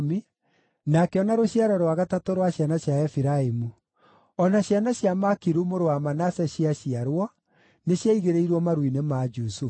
na akĩona rũciaro rwa gatatũ rwa ciana cia Efiraimu. O na ciana cia Makiru mũrũ wa Manase ciaciarwo nĩciaigĩrĩirwo maru-inĩ ma Jusufu.